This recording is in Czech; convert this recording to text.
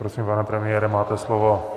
Prosím, pane premiére, máte slovo.